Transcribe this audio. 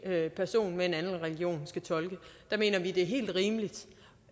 person med en anden religion skal tolke der mener vi det er helt rimeligt